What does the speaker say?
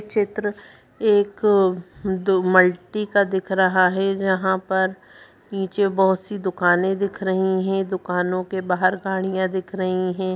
चित्र एक मल्टी का दिख रहा है यहाँ पर पीछे बहुत सी दुकाने दिख रही हैं दुकानों के बाहर गाड़ियाँ दिख रही है।